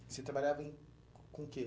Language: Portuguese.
Você trabalhava em com o quê?